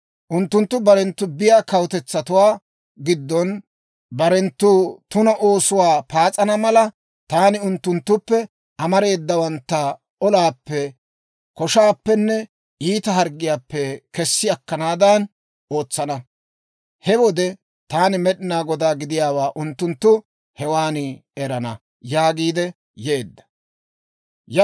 Unttunttu barenttu biyaa kawutetsatuwaa giddon barenttu tuna oosuwaa paas'ana mala, taani unttunttuppe amareedawantta olaappe, koshaappenne iita harggiyaappe kessi akkanaadan ootsana. He wode Taani Med'inaa Godaa gidiyaawaa unttunttu hewan erana» yaagiidde yeedda.